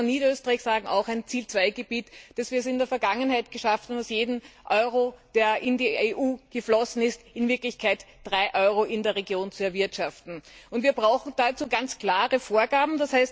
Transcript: Und ich kann nur von Niederösterreich sagen, auch ein Ziel II Gebiet, dass wir es in der Vergangenheit geschafft haben, aus jedem Euro, der in die EU geflossen ist, in Wirklichkeit drei Euro in der Region zu erwirtschaften. Und wir brauchen dazu ganz klare Vorgaben.